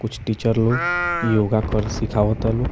कुछ टीचर लोग योगा करेले सिखावातालो।